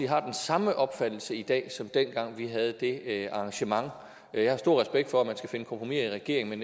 har den samme opfattelse i dag som dengang vi havde det arrangement jeg har stor respekt for at man skal finde kompromiser i regeringen